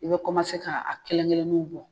I bɛ ka a kelen-kelenninw bɔ